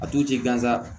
A tu ci gansan